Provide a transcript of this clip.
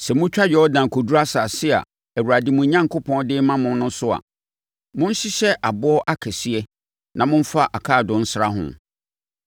Sɛ motwa Yordan kɔduru asase a Awurade, mo Onyankopɔn de rema mo no so a, monhyehyɛ aboɔ akɛseɛ na momfa akaadoo nsra ho.